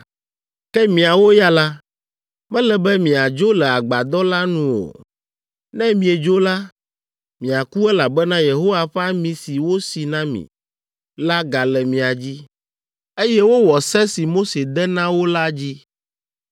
Ke miawo ya la, mele be miadzo le Agbadɔ la nu o. Ne miedzo la, miaku elabena Yehowa ƒe ami si wosi na mi la gale mia dzi.” Eye wowɔ se si Mose de na wo la dzi.